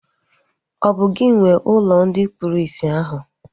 Ọ bụ gị nwee ụlọ ndị kpụrụ isi ahu?